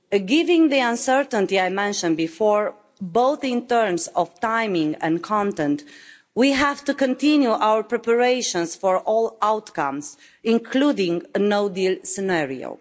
Given the uncertainty I mentioned before, in terms of both timing and content, we have to continue our preparations for all outcomes, including a no deal scenario.